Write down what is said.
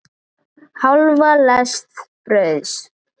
Hálfa lest brauðs.